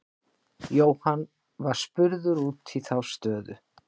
Jóhann var spurður út í þá stöðu.